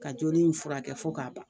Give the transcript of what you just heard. Ka joli in furakɛ fo k'a ban